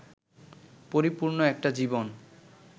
পরিপূর্ণ একটা জীবন